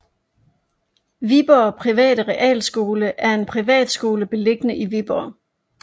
Viborg Private Realskole er en privatskole beliggende i Viborg